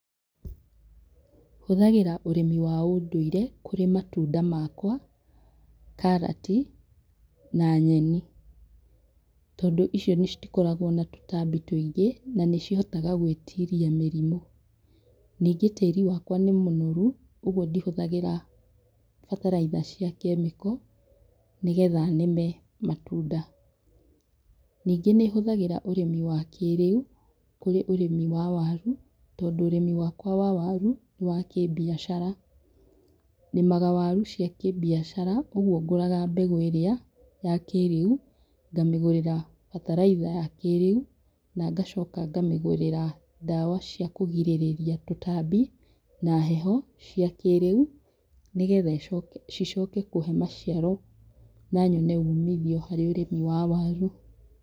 Hũthagĩra ũrĩmi wa ũndũire kũrĩ matunda makwa, karati, na nyeni, tondũ icio citikoragwo na tũtambi tũingĩ, na nĩcihotaga gwĩtiria mĩrimũ. Ningĩ tĩri wakwa nĩ mũnoru, ũguo ndihũthagĩra bataraitha cia kĩmĩko, nĩgetha nĩme matunda. Ningĩ nĩhũthagĩra ũrĩmi wa kĩrĩu kũrĩ ũrĩmi wa waru, tondũ ũrĩmi wakwa wa waru, nĩ wa kĩbiacara. Nĩmaga waru cia kĩbiacara, ũguo ngũraga mbegũ ĩrĩ ya kĩrĩu, ngamĩgũrĩra bataraitha ya kĩrĩu, na ngacoka ngamĩgũrĩra ndawa cia kũgirĩrĩria tũtambi na heho, cia kĩrĩu, nĩgetha ĩcoke, cicoke kũhe maciaro na nyone umithio harĩ ũrĩmi wa waru.